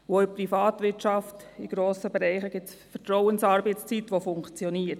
Auch in grossen Bereichen der Privatwirtschaft gibt es Vertrauensarbeitszeitmodelle, die funktionieren.